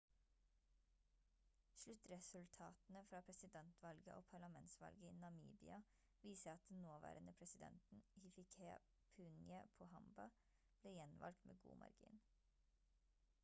sluttresultatene fra presidentvalget og parlamentsvalget i namibia viser at den nåværende presidenten hifikepunye pohamba ble gjenvalgt med god margin